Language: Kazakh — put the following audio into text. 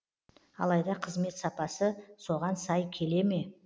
алайда қызмет сапасы соған сай келе ме